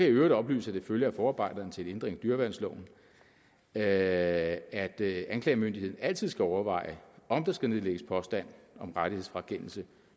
i øvrigt oplyse at det følger af forarbejderne til en ændring af dyreværnsloven at anklagemyndigheden altid skal overveje om der skal nedlægges påstand om rettighedsfrakendelse